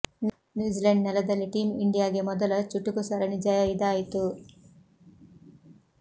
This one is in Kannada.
ನ್ಯೂಜಿಲೆಂಡ್ ನೆಲದಲ್ಲಿ ಟೀಮ್ ಇಂಡಿಯಾಗೆ ಮೊದಲ ಚುಟುಕು ಸರಣಿ ಜಯ ಇದಾಯಿತು